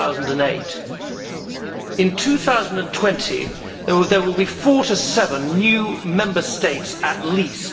2008. In 2020 there will be four to seven new Member States at least.